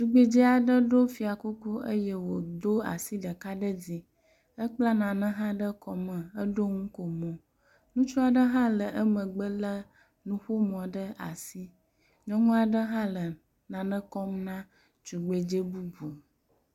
Tugbedzea ɖe ɖo fiakuku eye wòdo asi ɖeka ɖe dzi, ekpla nane hã ɖe kɔme heɖo ŋukomo, ŋutsua ɖe hã le emegbe lé nuƒomɔ ɖe asi, nyɔŋua ɖe hã le nane kɔm na tugbedze bubu.